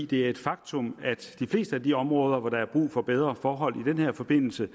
det er et faktum at de fleste af de områder hvor der er brug for bedre forhold i den her forbindelse